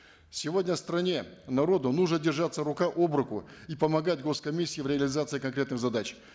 сегодня стране народу нужно держаться рука об руку и помогать гос комиссии в реализации конкретных задач